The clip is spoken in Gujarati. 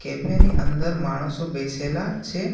કેફે ની અંદર માણસો બેસેલા છે.